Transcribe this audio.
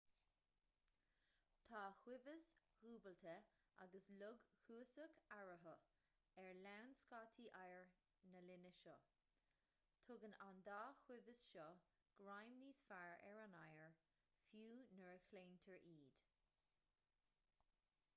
tá ciumhais dhúbailte agus log cuasach eararthu ar lann scátaí oighir na linne seo tugann an dá chiumhais seo greim níos fearr ar an oighear fiú nuair a chlaontar iad